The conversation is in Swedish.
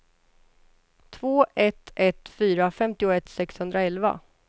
två ett ett fyra femtioett sexhundraelva